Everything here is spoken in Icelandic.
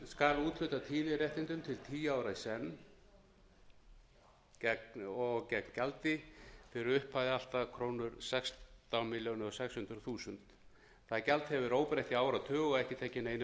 skal úthluta tíðniréttindum til tíu ára í senn og gegn gjaldi fyrir upphæð allt að krónu sextán þúsund sex hundruð milljónir það gjald hefur verið óbreytt í áratug og ekki tekið neinum